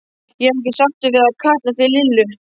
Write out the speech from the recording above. Ég er ekki sáttur við að kalla þig Lillu.